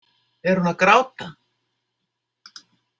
Er hún að gráta?